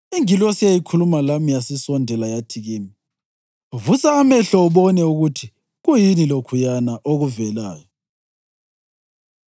Ingilosi eyayikhuluma lami yasisondela yathi kimi, “Vusa amehlo ubone ukuthi kuyini lokhuyana okuvelayo.”